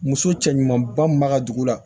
Muso cɛ ɲumanba min b'a ka dugu la